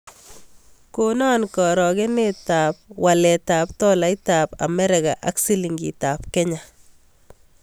Konon karogenetap waletap tolaitap amerika ak silingiitap Kenya